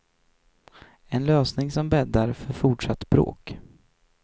En lösning som bäddar för fortsatt bråk.